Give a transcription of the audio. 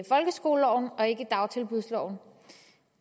folkeskoleloven og ikke hører under dagtilbudsloven